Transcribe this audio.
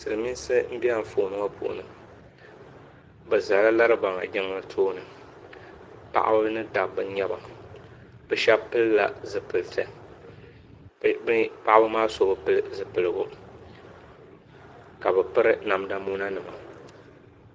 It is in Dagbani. silimiinsi m-be anfooni ŋɔ puuni bɛ zala Laribaŋa Jiŋli tooni paɣaba ni dabba n-nyɛ ba bɛ shɛba pili la zupiliti bɛ paɣaba maa so bi pili zupiligu ka bɛ piri namda mona nima.